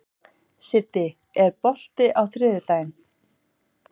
Siddi, er bolti á þriðjudaginn?